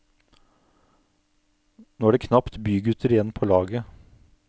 Nå er det knapt bygutter igjen på laget.